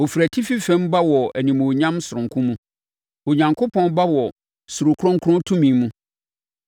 Ɔfiri atifi fam ba wɔ animuonyam sononko mu; Onyankopɔn ba wɔ surokronkron tumi mu.